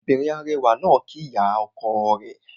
Obìnrin arẹwà náà kíí ìyá ọkọ rẹ̀